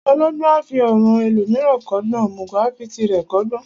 Ọlọgbọ́n a fi ọ̀ràn ẹlòmíràn kọ́gbọ́n, òmùgọ̀ a fi tirẹ̀ kọ́gbọ́n.